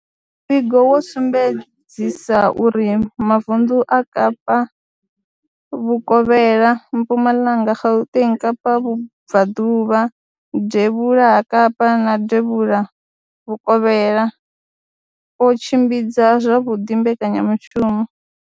Muvhigo wo sumbedzisa uri mavunḓu a Kapa vhukovhela, Mpumalanga, Gauteng, Kapa vhubvaḓuvha, devhula ha Kapa na devhulavhukovhela o tshimbidza zwavhuḓi mbekanyamushumo.